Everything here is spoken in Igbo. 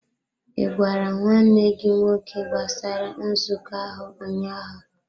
Ị gwara nwanne gị nwoke gbasara nzukọ ahụ ụnyaahụ?